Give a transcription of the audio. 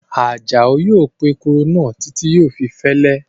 Àjàó yóò po èkuru náà títí yóò fi fẹ́lẹ́